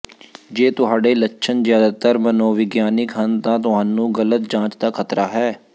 ਜੇ ਤੁਹਾਡੇ ਲੱਛਣ ਜ਼ਿਆਦਾਤਰ ਮਨੋਵਿਗਿਆਨਕ ਹਨ ਤਾਂ ਤੁਹਾਨੂੰ ਗ਼ਲਤ ਜਾਂਚ ਦਾ ਖਤਰਾ ਹੈ